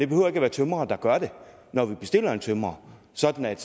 behøver at være tømrere der gør det når vi bestiller en tømrer sådan at